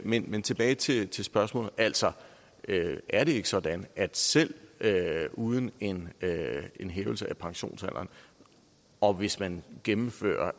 men men tilbage til til spørgsmålet altså er det ikke sådan at selv uden en en hævelse af pensionsalderen og hvis man gennemfører